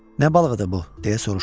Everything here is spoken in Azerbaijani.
Nə balığı idi bu, deyə soruşdum.